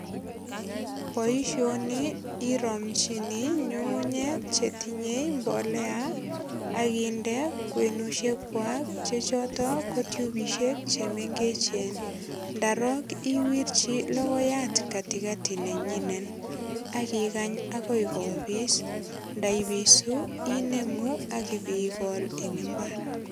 Boisioni iromchini nyungunyek chetinye mbolea ak inde kwenusiekwai chechoto ko tyubisiek chemengechen. Ndarok owirchi logoyat katikati nenyinet ak ikany agoi kopis, ndaipisu inemu ak ipigol eng imbar.